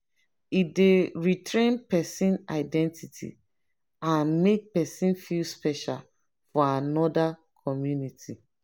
e dey retain pesin identity and make pesin feel special for anoda community.